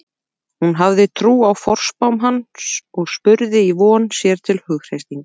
Hún hafði trú á forspám hans og spurði í von, sér til hughreystingar.